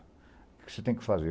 O que você tem que fazer?